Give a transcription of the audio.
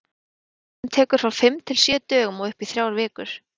Meðferðin tekur frá fimm til sjö dögum og upp í þrjár vikur.